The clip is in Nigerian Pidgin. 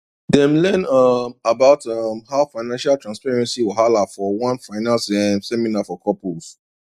dem learn um about um how financial transparency whahala for one finance um seminar for couples